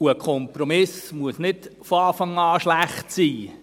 Und ein Kompromiss muss nicht von Anfang an schlecht sein.